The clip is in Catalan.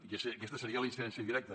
i aquesta seria la incidència directa